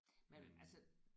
Men altså